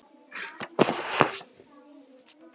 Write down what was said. Hann hélt sig muna framhaldið.